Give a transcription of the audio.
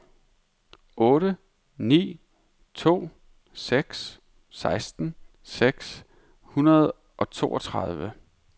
otte ni to seks seksten seks hundrede og toogtredive